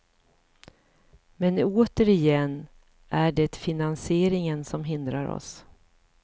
Men återigen är det finansieringen som hindrar oss.